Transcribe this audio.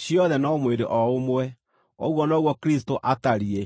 ciothe no mwĩrĩ o ũmwe. Ũguo noguo Kristũ atariĩ.